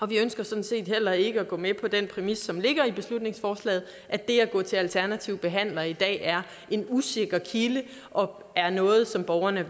vi ønsker sådan set heller ikke at gå med på den præmis som ligger i beslutningsforslaget at det at gå til alternativ behandler i dag er en usikker kilde og er noget som borgerne